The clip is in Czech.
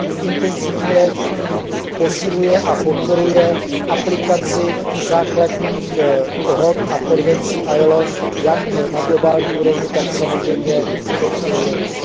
intenzivně posiluje a podporuje aplikaci základních dohod a konvencí ILO jak na globální úrovni, tak samozřejmě na evropské úrovni.